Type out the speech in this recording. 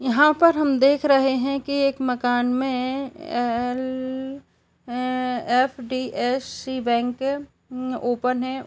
यहाँ पर हम देख रहे है की एक मकान में एल_फ_डी_एस_सी बैंक ओपन है।